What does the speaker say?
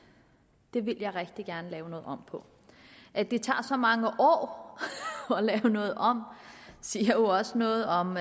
det ville jeg rigtig gerne lave om på at det tager så mange år at lave noget om siger jo også noget om